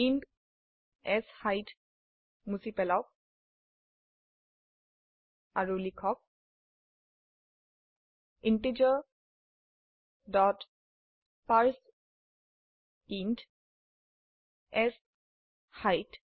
int set মুছি পেলাওক আৰু লিখক ইণ্টিজাৰ ডট পাৰ্চেইণ্ট শেইট